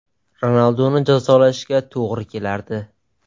Ronalduni jazolashga to‘g‘ri kelardi.